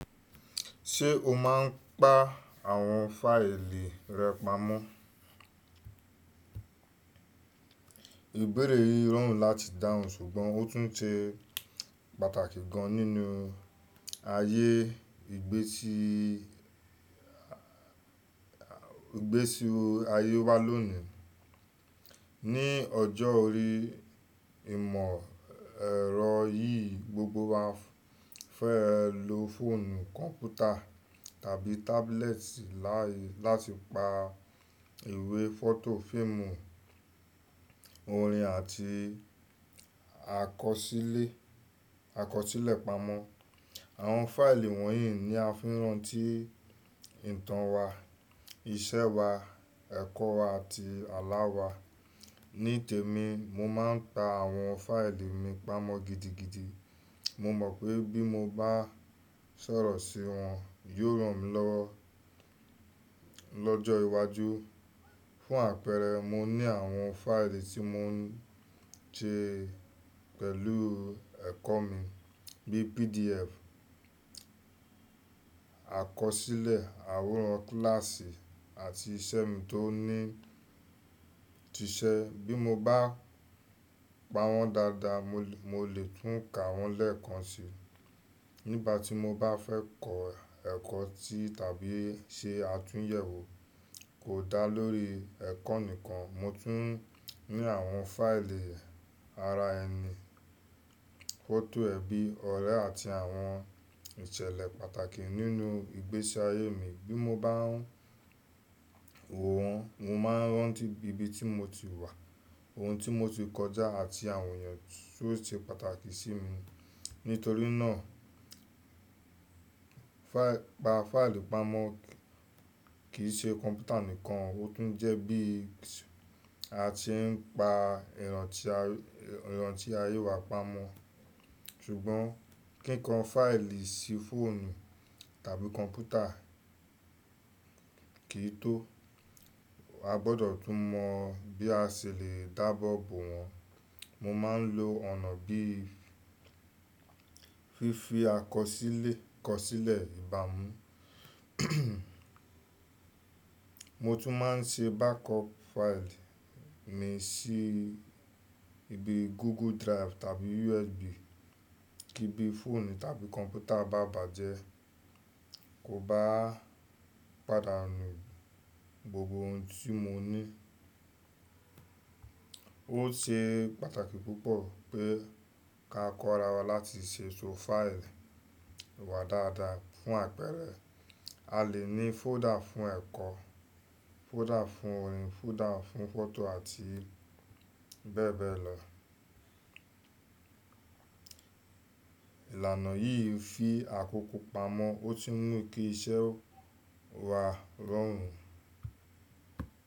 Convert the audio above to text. Ṣé o máa ń pa àwọn fáìlì rẹ pamọ́? Ìbéèrè yìí rọrùn láti dáhùn ṣùgbọ́n ó tún ṣe pàtàkì gan nínú ayé ìgbésí wo ayé wa lónìí. Ni ọjọ́ orí ìmọ̀ ẹ̀rọ yìí, gbogbo wa fẹ́ lo fóònù, kọ̀mpútà tàbí tábúlẹ́ẹ̀tì láti pa ìwé, fọ́tò, fíìmù, orin àti àkọsílẹ̀ pamọ́. Àwọn fáìlì wọ̀nyí ni a fi rànti ìtàn wa, iṣẹ́ wa, ẹ̀kọ́ wa àti àlá wa. Ní tèmi, mo máa ń pa àwọn fáìlì mi pamọ́ gidigidi. Mo mọ̀ pé bí mo bá sọ̀rọ̀ sí wọn, yóò ràn mí lọ́jọ́ iwájú. Fún àpẹrẹ, mo ní àwọn fáìlì tí mo ń ṣe pẹ̀lú ẹ̀kọ́ mi bí PDF, àkọsílẹ̀ àwòrán kílàsì àti iṣẹ́ mi tó ni, ti ṣe. Bí mo bá pa wọ́n dáadáa, mo lè tún ka wọ́n lẹ́ẹ̀kan si nígbà tí mo bá fẹ́ kọ ẹ̀kọ́ ti tàbí ṣe àtúnyẹ̀wò. Kò dá lórí ẹ̀kọ́ nìkan, mo tún ní àwọn fáìlì ara ẹni, fọ́tò ẹbí, ọ̀rẹ́ àti àwọn ìṣẹ̀lẹ̀ pàtàkì nínú ìgbésí ayé mi. Bí mo bá n woo, mo máa rántí ibi tí mo ti wà, ohun tí mo ti kọjá àti àwọn èèyàn tó ṣe pàtàkì sí mi. Nítorí náà pa fáìlì pamọ́ kì í ṣe kọ̀mpútà nìkan, ó tún jẹ́ bí a se ń pa ìrántí ayé wa pamọ́. Ṣùgbọ́n kí n kan fáìlì sí fóònù tàbí kọ̀mpútà kì í tó, a gbọdọ̀ tún mọ bí a ṣe lè dá abo bo wọ́n. Mo máa ń lo ọ̀nà bí i fífi àkọsílẹ̀ ìbá mu. Mo tún máa ń ṣe backup fáìlì mi sí ibi Google Drive tàbí USB kí bí fóònù tàbí kọ̀mpútà bá bàjẹ́ kó ba pàdánù gbogbo ohun tí mo ní. Ó ṣe pàtàkì púpọ̀ pé ká kọ́ ara wa láti ṣe ètò fáìlì wa dáadáa. Fún àpẹrẹ, a lè ní fóòdà fún ẹ̀kọ́, fóòdà fún orin, fóòdà fún fọ́tò àti bẹ́ẹ̀ bẹ́ẹ̀ lọ. Ìlànà yìí fi àkókò pamọ́, ó tún mú kí iṣẹ́ wa rọrùn.